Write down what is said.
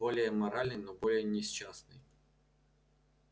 более моральный но более несчастный